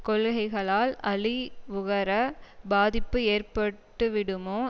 கொள்கைகளால் அழிவுகர பாதிப்பு ஏற்பட்டுவிடுமோ